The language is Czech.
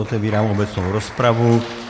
Otevírám obecnou rozpravu.